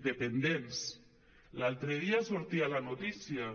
dependents l’altre dia sortia la notícia